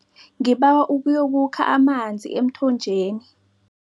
Ngibawa uyokukha amanzi emthonjeni.